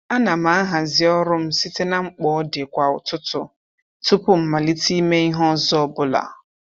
A na m ahazi ọrụ m site na mkpa ọdị kwa ụtụtụ tụpụ mmalite ime ihe ọzọ ọbụla.